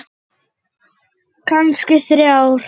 Kannski þrjár.